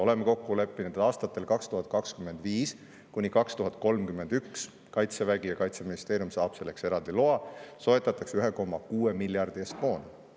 Oleme kokku leppinud, et aastatel 2025–2031 Kaitsevägi ja Kaitseministeerium saavad selleks eraldi loa, et soetada 1,6 miljardi eest moona.